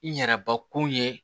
N yɛrɛbakun ye